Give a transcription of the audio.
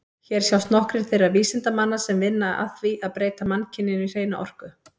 Hér sjást nokkrir þeirra vísindamanna sem vinna að því að breyta mannkyninu í hreina orku.